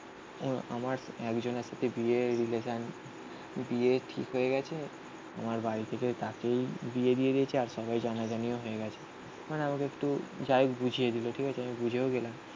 আমার একজনের সাথে বিয়ে রিলেসান বিয়ে ঠিক হয়ে গেছে. আমার বাড়ি থেকে তাকেই বিয়ে দিয়ে দিয়েছে. আর সবাই জানাজানিও হয়ে গেছে. মানে আমাকে একটু যাইহোক বুঝিয়ে দিল. ঠিক আছে. আমি বুঝেও গেলাম